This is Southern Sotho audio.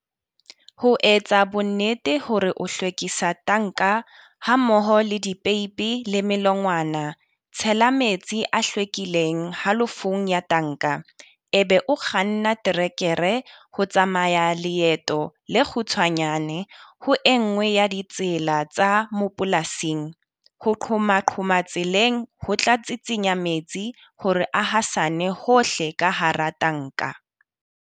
Ho etsa bonnete hore o hlwekisa tanka hammoho le dipeipi le melongwana, tshela metsi a hlwekileng halofong ya tanka. E be o kganna terekere ho tsamaya leeto le kgutshwanyane ho e nngwe ya ditsela tsa mapolasing ho qhomaqhoma tseleng ho tla tsitsinya metsi hore a hasane hohle ka hara tanka.